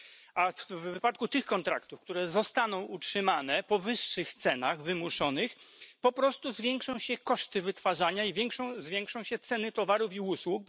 Ale w wypadku tych kontraktów, które zostaną utrzymane po wyższych cenach wymuszonych, po prostu zwiększą się koszty wytwarzania i zwiększą się ceny towarów i usług.